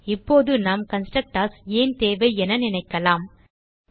இப்போது நாம் கன்ஸ்ட்ரக்டர்ஸ் ஏன் தேவை என நினைக்கலாம் விடை